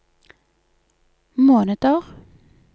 måneder